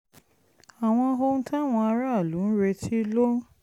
àwọn ohun táwọn aráàlú ń retí ló ń